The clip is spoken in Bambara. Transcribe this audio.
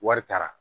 Wari taara